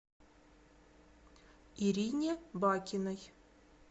ирине бакиной